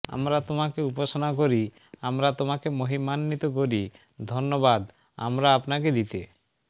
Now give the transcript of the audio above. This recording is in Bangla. আমরা তোমাকে উপাসনা করি আমরা তোমাকে মহিমান্বিত করি ধন্যবাদ আমরা আপনাকে দিতে